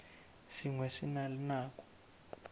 sengwe se na le nako